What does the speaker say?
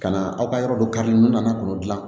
Ka na aw ka yɔrɔ dɔ kari nun nana k'o dilan